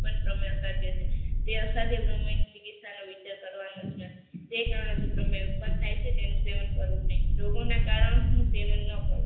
પણ સમય સાથે છે તે સાથે રમણી ચિકિત્સાનો વિચાર કરવાનો છે તે કારણે ભ્રમણી ઉત્પન્ન થાય છે તેનું સેવન કરવું નહીં રોગોના કારણો શું સેવન ન કરવું